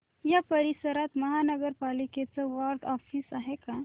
या परिसरात महानगर पालिकेचं वॉर्ड ऑफिस आहे का